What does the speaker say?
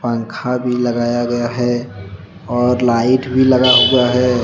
पंखा भी लगाया गया है और लाइट भी लगा हुआ है।